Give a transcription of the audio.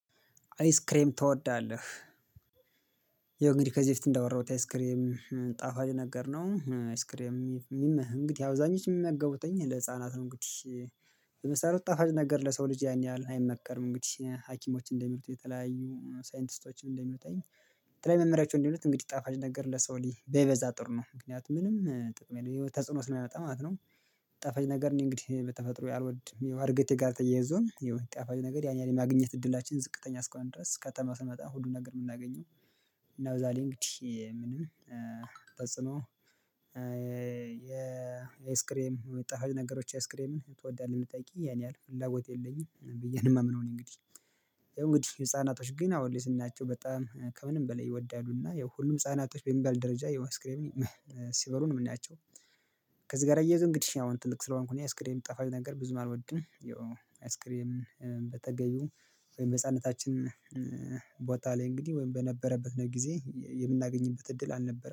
አይስክሬም ትወዳለህ? የእንግዲህ ከዚህ በፊት እንዳወራሁት አይስክሬም ጣፋጭ ነገር ነው አይስክሬም የሚመህ እንግዲህ አብዛኞቹ የሚያገቡትኝ ለህፃናት ነው እንግዲህ በመሰረቱት ጣፋጭ ነገር ለሰው ልጅ ያን ያህል አይመከርም እንግዲህ ሀኪሞችን እንደሚሉት የተለያዩ ሳይንቲስቶችን እንደሚሉትኝ የተለያዩ መምሪያዎችም እንዲሉት እንግዲህ ጣፋጭ ነገር ለሰው ልጅ በይበዛ ጥሩ ነው ምክንያቱም ምንም ጥቅም የለም ተጽዕኖ ስለሚመጣ ማለት ነው። ጣፋጭ ነገር ነው እንግዲህ በተፈጥሮ አልወድም ያው እድገቴ ጋር ተያይዞም ጣፋጭ ነገር ያን ያህል የማግኘት እድላችን ዝቅተኛ እስከሆነ ድረስ ከተማ ስንመጣ ነው ሁሉን ነገር የምናገኘው እና በዛ ላይ እንግዲህ ምንም ጠጽኖ የአይስክሬም ጣፋጭ ነገሮች ኤስክሬምም ትወዳለህ ብትጠይቂኝ ያን ያህል ፍላጎት የለኝም ብዬ ነው የማምነው እኔ እንግዲህ እንግዲህ ህፃናቶች ግን አሁን ልትናቸው በጣም ከምንም በላይ ይወዳሉና ሁሉም ህፃናቶች በሚባል ደረጃ አይስክሬም ሲበሉ ነው የምናያቸው ከዚህ ጋር እየያዙ እንግዲህ ያው ትልቅ ስለሆንኩኝ አይስክሬም ጣፋጭ ነገር ብዙም አልወድም ያው አይስክሪም በተገኙ ወይም በህፃንነታችን ቦታ ላይ እንግዲህ ወይም በነበረበት ጊዜ የምናገኝበት እድል አልነበረም።